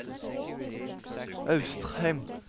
Austrheim